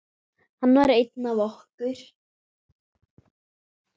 Hann var einn af okkur.